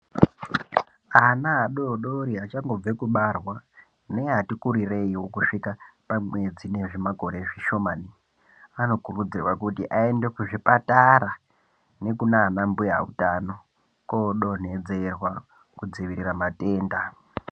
Ana adodori achangobve kubarwa neati kurireio kusvika pamwedzi nezvimakore zvishomani anokurudzirwa kuti aende kuzvipatara nekunana mbuya utano koodonhedzerwa kudziviira matenda.